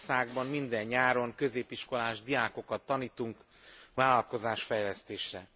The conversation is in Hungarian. Négy országban minden nyáron középiskolás diákokat tanítunk vállalkozás fejlesztésre.